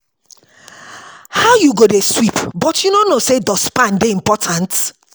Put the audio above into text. How you go dey sweep but you no know say dust pan dey important?